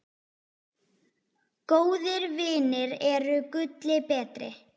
Góðir vinir eru gulli betri.